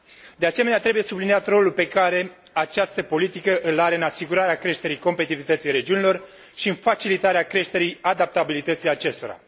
De asemenea, trebuie subliniat rolul pe care această politică îl are în asigurarea creșterii competitivității regiunilor și în facilitarea creșterii adaptabilității acestora.